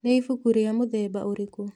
Nĩ ibuku rĩa mũthemba ũrĩkũ?